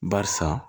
Barisa